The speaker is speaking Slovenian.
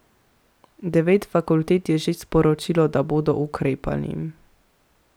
Devet fakultet je že sporočilo, da bodo ukrepali.